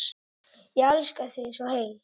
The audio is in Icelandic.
Ég elska þig svo heitt.